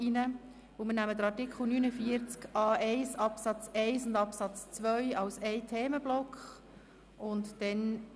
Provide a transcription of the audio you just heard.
Wir nehmen Artikel 49a1 Absatz 1 und Artikel 49a1 Absatz 2 als Themenblock zusammen.